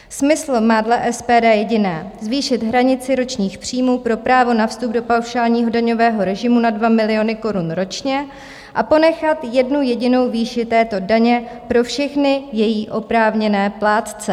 Smysl má dle SPD jediné: zvýšit hranici ročních příjmů pro právo na vstup do paušálního daňového režimu na 2 miliony korun ročně a ponechat jednu jedinou výši této daně pro všechny její oprávněné plátce.